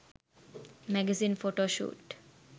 magazine photoshoot